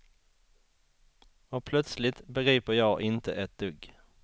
Och plötsligt begriper jag inte ett dugg.